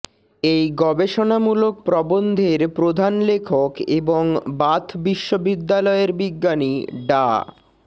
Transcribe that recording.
এই গবেষণামূলক প্রবন্ধের প্রধান লেখক এবং বাথ বিশ্ববিদ্যালয়ের বিজ্ঞানী ডা